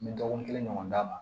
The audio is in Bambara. N bɛ dɔgɔkun kelen ɲɔgɔn d'a ma